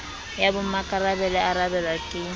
ya bommakarabelo ya arabelwa ke